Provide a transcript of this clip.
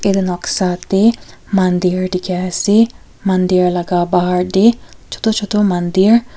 Etu noksa dae mandir dekhe ase mandir laga bahar dae chutu chutu mandir--